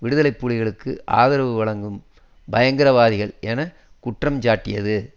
விடுதலை புலிகளுக்கு ஆதரவு வழங்கும் பயங்கரவாதிகள் என குற்றஞ்சாட்டியது